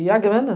E a grana?